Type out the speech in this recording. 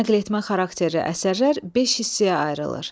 Nəql etmə xarakterli əsərlər beş hissəyə ayrılır.